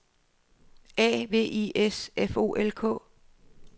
A V I S F O L K